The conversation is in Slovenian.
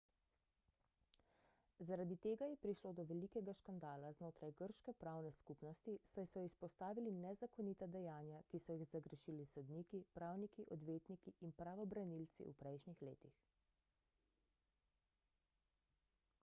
zaradi tega je prišlo do velikega škandala znotraj grške pravne skupnosti saj so izpostavili nezakonita dejanja ki so jih zagrešili sodniki pravniki odvetniki in pravobranilci v prejšnjih letih